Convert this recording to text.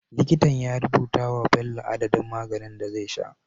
Likita ya rubuta wa Bello adadin maganin da zai sha